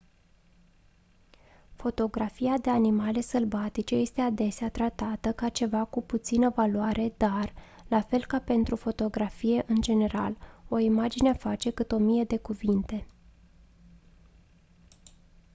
fotografia de animale sălbatice este adesea tratată ca ceva cu puțină valoare dar la fel ca pentru fotografie în general o imagine face cât o mie de cuvinte